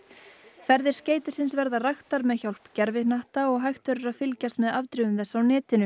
ferðir skeytisins verða raktar með hjálp gervihnatta og hægt verður að fylgjast með afdrifum þess á netinu